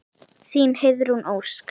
Þín, Heiðrún Ósk.